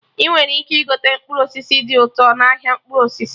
Ị nwere ike igote mkpụrụ osisi dị ụkọ n'ahịa mkpụrụ osisi